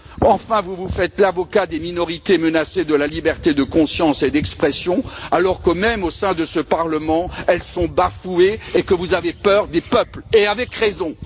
Enfin, vous vous faites l'avocat des minorités menacées, de la liberté de conscience et d'expression alors que, même au sein de ce Parlement, elles sont bafouées et que vous avez peur des peuples, et avec raison.